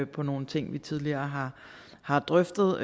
på nogle ting vi tidligere har drøftet og